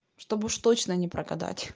чтобы уж точно не прогадать